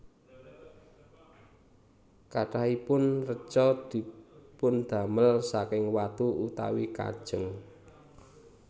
Kathahipun reca dipundamel saking watu utawi kajeng